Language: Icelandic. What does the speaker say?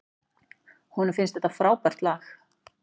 Honum finnst þetta frábært lag.